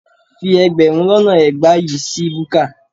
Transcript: Fi ẹgbẹ̀rún lọ́nà ẹgbàá yìí ṣí búkà